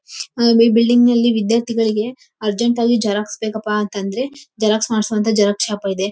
ಈ ಬಿಲ್ಡಿಂಗ್ ನಲ್ಲಿ ವಿದ್ಯಾರ್ಥಿಗಳಿಗೆ ಅರ್ಜೆಂಟ್ ಆಗಿ ಜೆರಾಕ್ಸ್ ಬೇಕಪ್ಪ ಅಂತ ಅಂದ್ರೆ ಜೆರಾಕ್ಸ್ ಮಾಡಿಸೋವಂತಹ ಜೆರಾಕ್ಸ್ ಶಾಪ್ ಇದೆ.